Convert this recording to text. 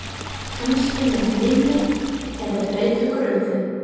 Kannski með minni eða breyttar kröfur?